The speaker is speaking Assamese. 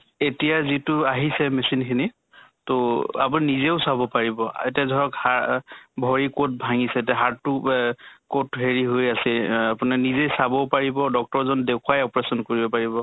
এতিয়া যিটো আহিছে machine খিনি তʼ আপোনি নেজেও চাব পাৰিব। এতিয়া ধৰক হা ভৰি কʼত ভাঙ্গিছে তে হাত টো এহ কʼত হেৰি হৈ আছে অহ আপোনি নিজে চাব পাৰিব doctor জন দেখুৱাই operation কৰিব পাৰিব।